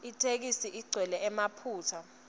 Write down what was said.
itheksthi igcwele emaphutsa